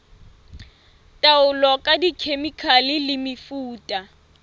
taolo ka dikhemikhale le mefuta